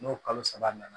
N'o kalo saba nana